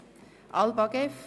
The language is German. Es geht um das Geschäft «ALBA